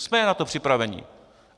Jsme na to připraveni.